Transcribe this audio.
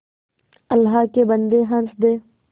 अल्लाह के बन्दे हंस दे